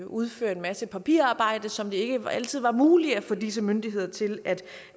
udføre en masse papirarbejde som det ikke altid var muligt at få disse myndigheder til at